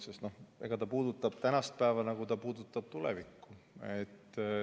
Eks see puudutab tänast päeva samuti, nagu see puudutab tulevikku.